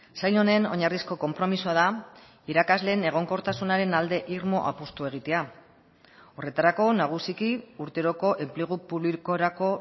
sail honen oinarrizko konpromisoa da irakasleen egonkortasunaren alde irmo apustua egitea horretarako nagusiki urteroko enplegu publikorako